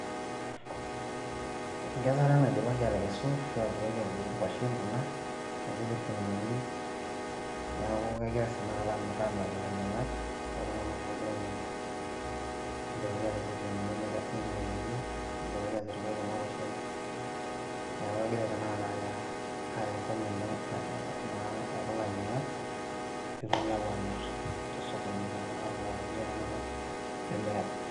enkesare naidipaki atekesu ashua idipaki atuturu inkuashen kuna nepiki irkuniani niaku kegirae tanakata amirr amiraki ilainyiang'ak kulo tung'anak ogira ainyiang'u nidipaki atipik irkuniani nikenoyioki ashu idipaki ataripai kuna kuashen niaku egirae tanakata aaya, aaya enkop naa ekulo ainyiang'ak pitokini apuo amirr tosokoni naa amiraki irkuli tung'anak lemeeta.